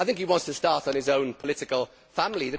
I think he wants to start on his own political family.